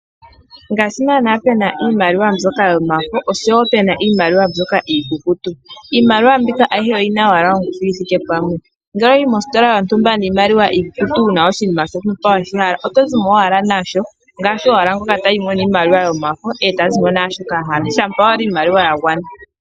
Ngaashi naana pena iimaliwa mbyoka yomafo , osho wo pena iimaliwa mbyoka iikukutu. Iimaliwa mbika ayihe oyina owala ongushu yithike pamwe, ngele owa yi mositola yontumba niimaliwa iikukutu wuna oshinima shontumba weshi hala oto zimo owala nasho. Ngaashi owala ngoka tayi mo niimaliwa yomafo e tazi mo naashoka ahala, shampa owala iimaliwa ya gwana.